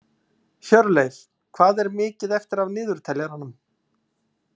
Hjörleif, hvað er mikið eftir af niðurteljaranum?